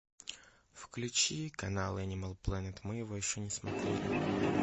включи канал энимал планет мы его еще не смотрели